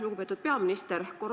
Lugupeetud peaminister!